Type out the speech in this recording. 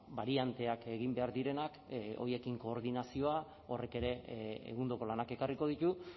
barianteak egin behar direnak horiekin koordinazioa horrek ere egundoko lanak ekarriko ditu